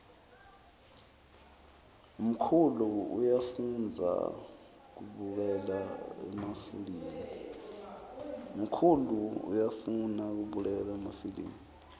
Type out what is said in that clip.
mkhulu uyafoudza kubukela emafilimu